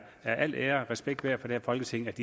al ære og respekt værd at folketinget